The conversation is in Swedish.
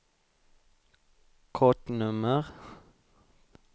kortnummer